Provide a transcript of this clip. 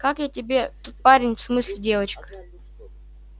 как тебе тот парень в смысле девчонка